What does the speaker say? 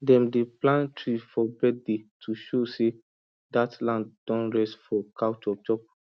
dem dey plant tree for birthday to show say dat land don rest from cow chopchop